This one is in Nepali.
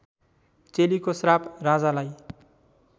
चेलीको श्राप राजालाई